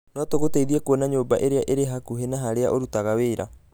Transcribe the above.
No tũgũteithie kuona nyũmba ĩrĩa ĩrĩ hakuhĩ na harĩa ũrutaga wĩra.